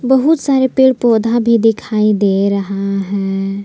बहुत सारे पेड़ पौधा भी दिखाई दे रहा है।